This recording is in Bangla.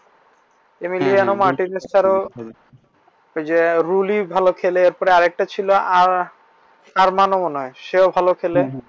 যে রুলি ভালো খেলে তারপর আরেকটা ছিল আরমানও মনে হয় সেও ভালো খেলে